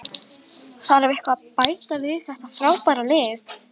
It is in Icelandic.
Láttu af, gerðu það fyrir mig, sárbað Marta.